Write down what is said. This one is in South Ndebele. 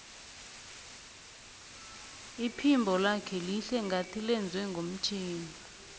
iphimbo lakhe lihle ngathi lenzwe ngomtjhini